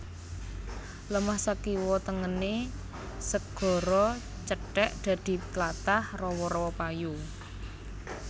Lemah sakiwa tengené segara cethèk dadi tlatah rawa rawa payo